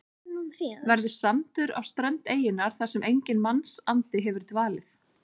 Verður sandur á strönd eyjunnar þar sem enginn mannsandi hefur dvalið.